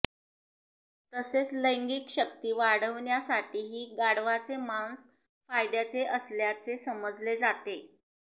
तसेच लैंगिक शक्ती वाढवण्यासाठीही गाढवाचे मांस फायद्याचे असल्याचे समजले जाते